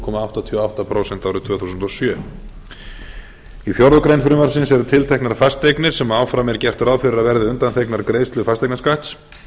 komma áttatíu og átta prósent árið tvö þúsund og sjö í fjórða grein frumvarpsins eru tilteknar fasteignir sem áfram er gert ráð fyrir að verði undanþegnar greiðslu fasteignaskatts